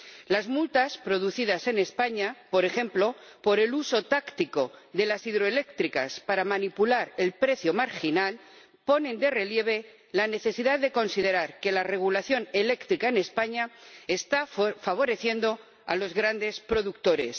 Las multas producidas en España, por ejemplo, por el uso táctico de las hidroeléctricas para manipular el precio marginal ponen de relieve la necesidad de considerar que la regulación eléctrica en España está favoreciendo a los grandes productores.